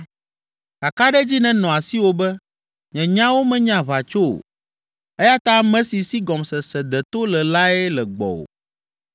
Kakaɖedzi nenɔ asiwò be, nye nyawo menye aʋatso o eya ta ame si si gɔmesese deto le lae le gbɔwò.